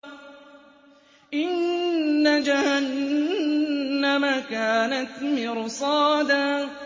إِنَّ جَهَنَّمَ كَانَتْ مِرْصَادًا